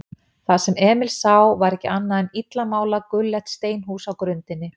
Það sem Emil sá var ekki annað en illa málað gulleitt steinhús á grundinni.